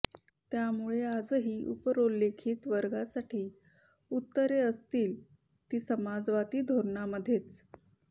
त्यामुळे आजही उपरोल्लेखित वर्गांसाठी उत्तरे असतील ती समाजवादी धोरणांमध्येच